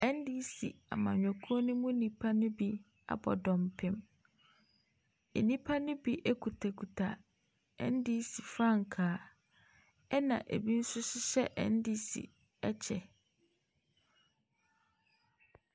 Ndc amanyɔkuo mu nnipa no bi abɔ dɔmpim. Nnipa no bi ekutakuta NDC frankaa ɛna ebi nso hyehyɛ NDC ɛkyɛ.